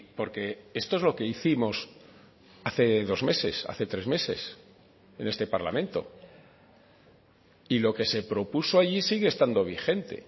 porque esto es lo que hicimos hace dos meses hace tres meses en este parlamento y lo que se propuso allí sigue estando vigente